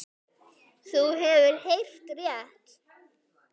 Þú hefur heyrt rétt.